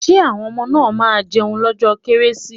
Will the children eat on christmas day?